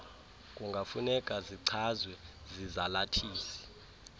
kungafuneka zichazwe zizalathisi